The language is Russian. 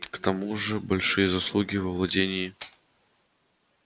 к тому же большие заслуги в овладении